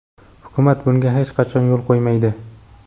Hukumat bunga hech qachon yo‘l qo‘ymaydi.